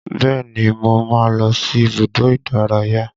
Bẹ́ẹ̀ni mo máa ń lọ sí ibùdó ìdárayá